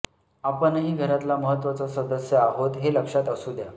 आपणही घरातला महत्त्वाचा सदस्य आहोत हे लक्षात असू द्या